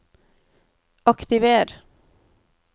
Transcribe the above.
aktiver